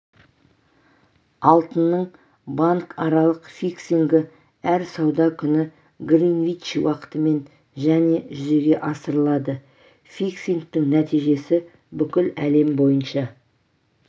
алтынның банкаралық фиксингі әр сауда күні гринвич уақытымен және жүзеге асырылады фиксингтің нәтижесі бүкіл әлем бойынша